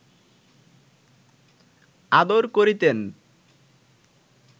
আদর করিতেন